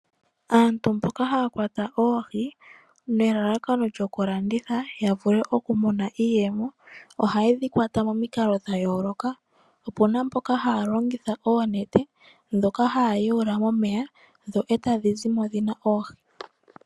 Aantu mboka haya kwata oohi nelalakano lyokulanditha ya vule okumona iiyemo ohaye dhi kwata momikalo dha yooloka opu na mboka haya longitha oonete ndhoka haya yawula momeya dho e tadhi zimo dhi na oohi.